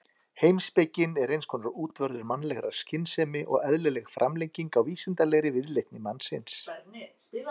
Heimspekin er eins konar útvörður mannlegrar skynsemi og eðlileg framlenging á vísindalegri viðleitni mannsins.